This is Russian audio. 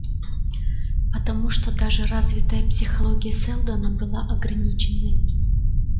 потому что даже развитая психология сэлдона была ограниченной